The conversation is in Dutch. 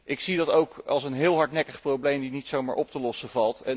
Ik zie dat ook als een heel hardnekkig probleem dat niet zomaar valt op te lossen.